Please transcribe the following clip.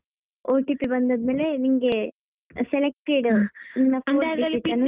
OTP ಬಂದಾದ್ಮೇಲೆ ನಿಂಗೆ selected .